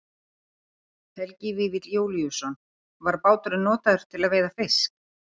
Helgi Vífill Júlíusson: Var báturinn notaður til að veiða fisk?